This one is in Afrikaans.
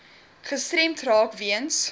gestremd raak weens